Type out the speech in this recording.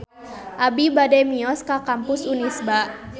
Abi bade mios ka Kampus Unisba